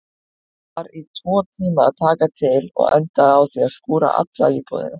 Ég var tvo tíma að taka til og endaði á því að skúra alla íbúðina.